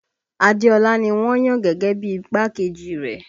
Adéọlá ni wọ́n yàn gẹ́gẹ́ bí i igbákejì rẹ̀